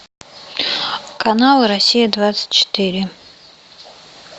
канал россия двадцать четыре